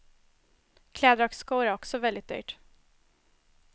Kläder och skor är också väldigt dyrt.